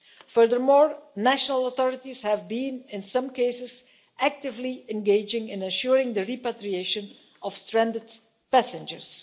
Furthermore, national authorities have, in some cases, been actively engaging in ensuring the repatriation of stranded passengers.